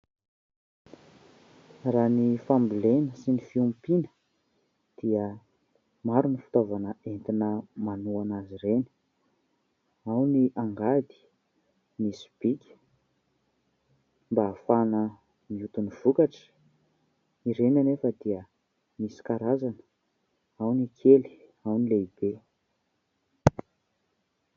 Raha ny fambolena sy ny fiompiana dia maro ny fitaovana entina manohana azy ireny ao ny angady, ny sobika mba hahafahana mioty ny vokatra. Ireny anefa dia misy karazana ao ny kely ao ny lehibe.